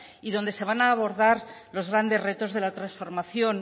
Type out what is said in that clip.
y donde se van a abordar los grandes retos de la transformación